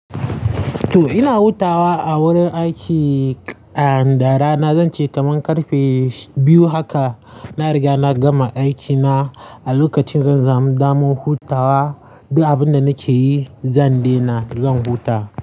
Toh ina hutawa a wurin aiki, a, da rana zan ce kaman ƙarfe biyu haka na riga na gama aikina. A lokacin zan samu daman hutawa, duk abinda nake yi zan daina, zan huta.